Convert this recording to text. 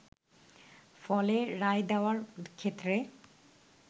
ফলে রায় দেওয়ার ক্ষেত্রে